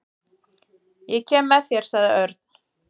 Ég kem með þér sagði Örn.